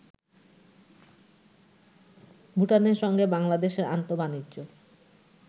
ভুটানের সঙ্গে বাংলাদেশের আন্তঃবাণিজ্য